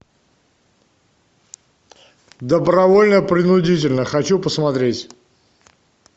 добровольно принудительно хочу посмотреть